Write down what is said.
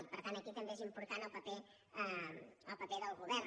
i per tant aquí també és important el paper del govern